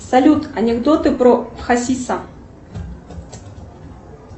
салют анекдоты про хасиса